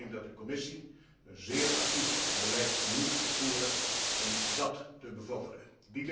Ik denk dat de Commissie een zeer actief beleid moet voeren om dat te bevorderen.